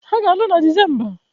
Ha ga-alụ na Disemba